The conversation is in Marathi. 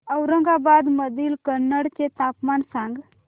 औरंगाबाद मधील कन्नड चे तापमान सांग